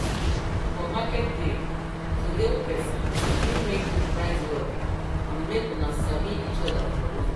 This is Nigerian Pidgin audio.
for market day to hail person fit make you price well and make una sabi each other for long